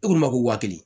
E k'u ma ko wa kelen